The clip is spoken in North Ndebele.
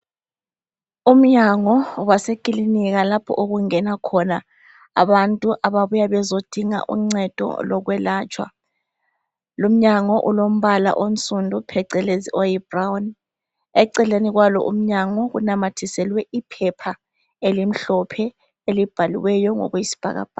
umnyango wasekilinika lapho okungena khona abantu bebuya bezodinga uncedo lokwelatshwa lumnyango ulombala onsundu phecelezi oyibrown eceleni kwalo umnyango kunamathiselwe iphepha elimhlophe elibhaliweyo ngokwesibhakabhaka